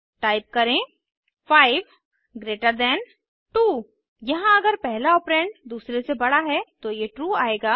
type करें 5 greater than 2 यहाँ अगर पहला ऑपरेंड दूसरे से बड़ा है तो ये ट्रू आएगा